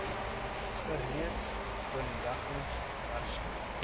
gereeld delegerings hersien